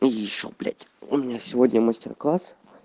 ещё блять у меня сегодня мастер-класс